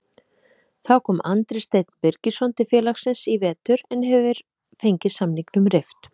Þá kom Andri Steinn Birgisson til félagsins í vetur en hefur fengið samningnum rift.